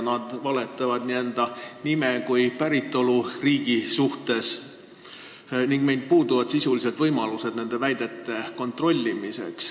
Nad valetavad nii enda nime kui ka päritoluriigi kohta ning meil sisuliselt puuduvad võimalused nende väidete kontrollimiseks.